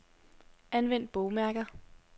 Anvend bogmærker.